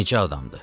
Necə adamdır?